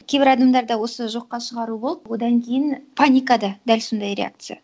кейбір адамдарда осы жоққа шығару болып одан кейін паника да дәл сондай реакция